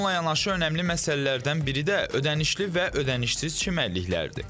Bununla yanaşı önəmli məsələlərdən biri də ödənişli və ödənişsiz çimərliklərdir.